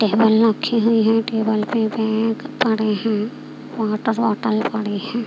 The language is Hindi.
टेबल रक्खी हुई है टेबल पे बैग पड़े हैं वॉटर बॉटल पड़ी हैं।